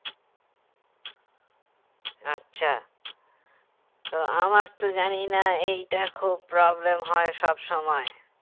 আচ্ছা তো আমার তো জানি না এইটা খুব problem হয় সব সময়